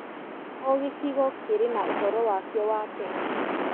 O gĩcigo kĩrĩ na ũhoro wakĩo wa tene.